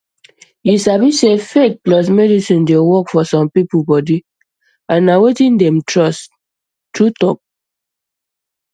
you sabi sey faith plus medicine dey work for some people body and na wetin dem trust true talk